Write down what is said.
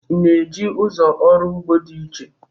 ị na-eji ụzọ ọrụ ugbo dị iche?